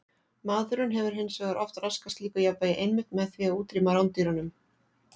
Maðurinn hefur hins vegar oft raskað slíku jafnvægi einmitt með því að útrýma rándýrunum.